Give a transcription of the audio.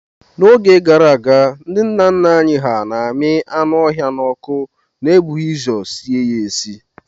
N'oge gara aga, ndi nna nna anyị hà na-ami anụ ọhịa n'ọkụ n'ebughị ụzọ sie ha esie.